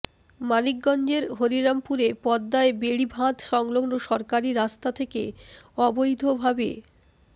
মানিকগঞ্জের হরিরামপুরে পদ্মার বেড়িবাঁধ সংলগ্ন সরকারি রাস্তা থেকে অবৈধভা